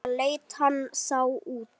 Svona leit hann þá út.